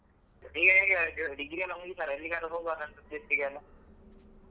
ಈಗ ಹೇಗೆ degree ಎಲ್ಲಾ ಮುಗಿತಲ್ಲಾ ಎಲ್ಲಿಗಾದ್ರು ಹೋಗ್ವಲ್ಲಾ trip ಗೆಲ್ಲಾ.